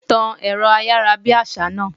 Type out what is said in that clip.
Tan ẹ̀rọ ayárabíàṣá náà!